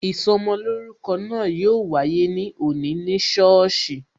Ìsọmolórúkọ náà yo wáyé ní òní ní sọ́ọ̀sì